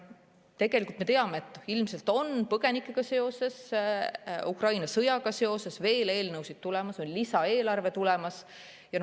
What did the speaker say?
Tegelikult me teame, et ilmselt on põgenikega seoses, Ukraina sõjaga seoses veel eelnõusid tulemas, on lisaeelarve tulemas.